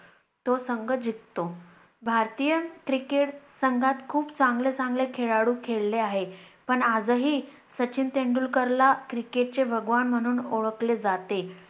तो संघ जिंकतो. भारतीय Cricket संघात खूप चांगले चांगले खेळlडू खेळले आहेत, पण आजही सचिन तेंडुलकरला Cricket भगवान चे म्हणून ओळखले जाते.